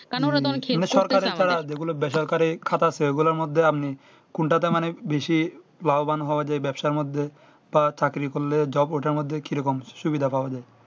কারণ ওরা তো এখন কোনো সরকারি ছাড়া যেগুলো বেসরকারি খাত আছে ওগুলা মধ্যে আপনি কোনটাতে মানে বেশি বাহবান হওয়া যায় যেই ব্যাবসার মধ্যে তারা চাকরির করলে jobe ঐটার মধ্যে কি রকম সুবিধা পাওয়া যাই